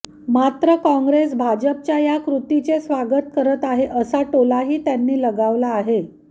मात्र काँग्रेस भाजपच्या या कृतीचे स्वागत करत आहे असा टोलाही त्यांनी लगावला आहे